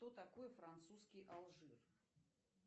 кто такой французский алжир